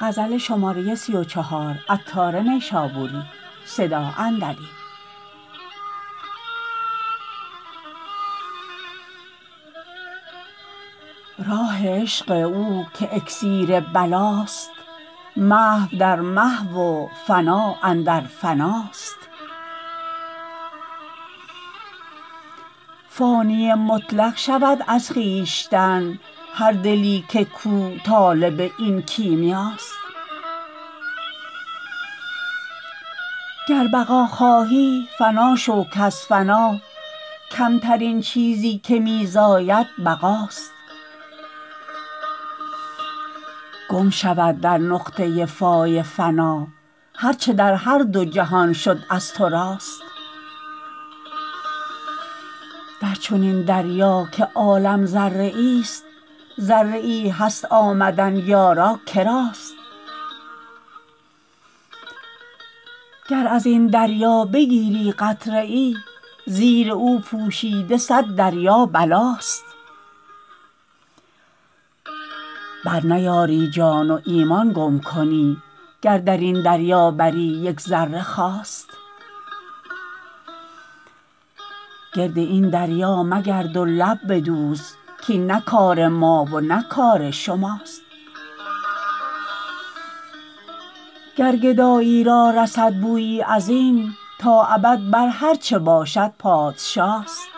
راه عشق او که اکسیر بلاست محو در محو و فنا اندر فناست فانی مطلق شود از خویشتن هر دلی کو طالب این کیمیاست گر بقا خواهی فنا شو کز فنا کمترین چیزی که می زاید بقاست گم شود در نقطه فای فنا هر چه در هر دو جهان شد از تو راست در چنین دریا که عالم ذره ای است ذره ای هست آمدن یارا کراست گر ازین دریا بگیری قطره ای زیر او پوشیده صد دریا بلاست برنیاری جان و ایمان گم کنی گر درین دریا بری یک ذره خواست گرد این دریا مگرد و لب بدوز کین نه کار ما و نه کار شماست گر گدایی را رسد بویی ازین تا ابد بر هرچه باشد پادشاست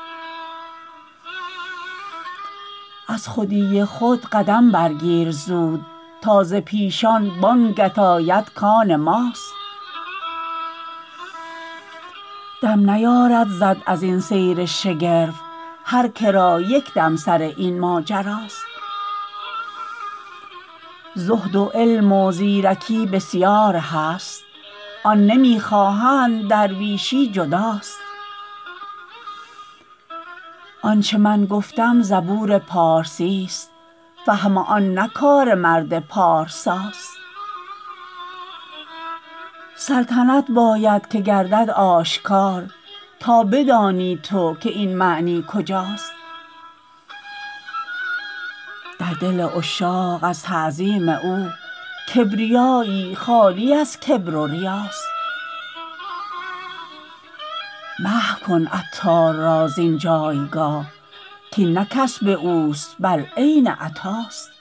از خودی خود قدم برگیر زود تا ز پیشان بانگت آید کان ماست دم نیارد زد ازین سیر شگرف هر که را یک دم سر این ماجراست زهد و علم و زیرکی بسیار هست آن نمی خواهند درویشی جداست آنچه من گفتم زبور پارسی است فهم آن نه کار مرد پارساست سلطنت باید که گردد آشکار تا بدانی تو که این معنی کجاست در دل عشاق از تعظیم او کبریایی خالی از کبر و ریاست محو کن عطار را زین جایگاه کین نه کسب اوست بل عین عطاست